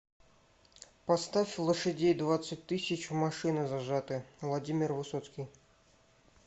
поставь лошадей двадцать тысяч в машины зажаты владимир высоцкий